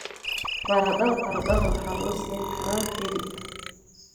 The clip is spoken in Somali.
Baradhada baradhada waxaa lagu siin karaa hilib.